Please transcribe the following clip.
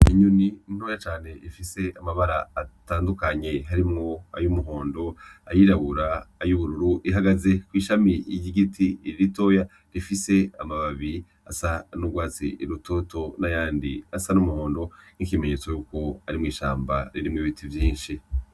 Inyoni ntoyi cane ifise amabara atandukanye harimwo Ayo umuhondo ayirabura, ayubururu ihagaze kw'ishami ry'igiti ritoyi rifise amababi asa n'urwatsi rutoto n'ayandi asa n'umuhondo nk'ikimenyetso yuko ari mw'ishambi ririmwo ibiti vyinshi.